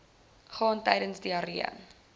gaan tydens diarree